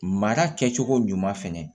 Mara kɛcogo ɲuman fana